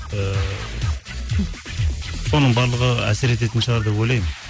ыыы соның барлығы әсер ететін шығар деп ойлаймын